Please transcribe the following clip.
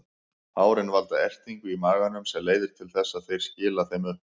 Hárin valda ertingu í maganum sem leiðir til þess að þeir skila þeim upp.